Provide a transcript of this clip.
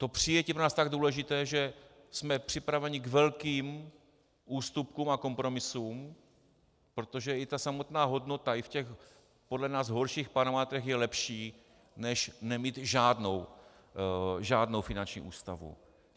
To přijetí je pro nás tak důležité, že jsme připraveni k velkým ústupkům a kompromisům, protože i ta samotná hodnota i v těch podle nás horších parametrech je lepší než nemít žádnou finanční ústavu.